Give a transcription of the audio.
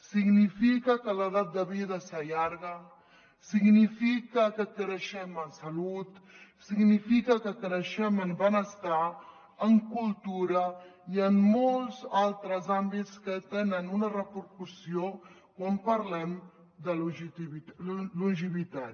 significa que l’edat de vida s’allarga significa que creixem en salut significa que creixem en benestar en cultura i en molts altres àmbits que tenen una repercussió quan parlem de longevitat